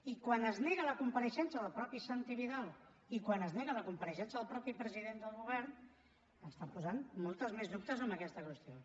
i quan es nega la compareixença del mateix santi vidal i quan es nega la compareixença del mateix president del govern està posant molts més dubtes en aquesta qüestió